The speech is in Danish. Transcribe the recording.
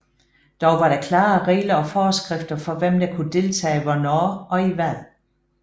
Dog var der klare regler og forskrifter for hvem der kunne deltage hvornår og i hvad